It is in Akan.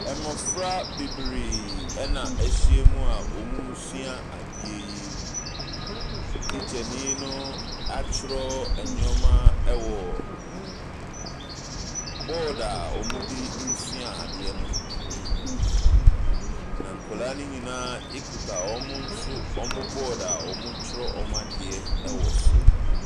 Mmofra bebree na ahyiam a wɔresua adeɛ yi. Tikyani akyerɛw nneɛma wɔ board a wɔde resua adeɛ no mu. Na nkwaraa no nyinaa kuta wɔn nso wɔn board a wɔkyerɛw wɔn adeɛ wɔ so.